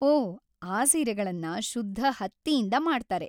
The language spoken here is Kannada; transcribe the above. ಓಹ್, ಆ ಸೀರೆಗಳನ್ನ ಶುದ್ಧ ಹತ್ತಿಯಿಂದ ಮಾಡ್ತಾರೆ.